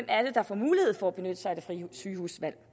er der får mulighed for at benytte sig af det frie sygehusvalg